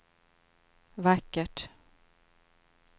vackert